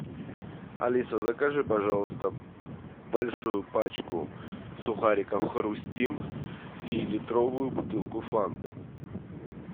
алиса закажи пожалуйста большую пачку сухариков хрустим и литровую бутылку фанты